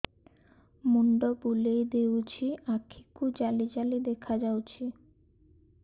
ମୁଣ୍ଡ ବୁଲେଇ ଦେଉଛି ଆଖି କୁ ଜାଲି ଜାଲି ଦେଖା ଯାଉଛି